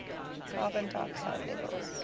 carbon dioxide levels